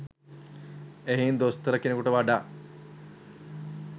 එහෙයින් දොස්තර කෙනෙකුට වඩා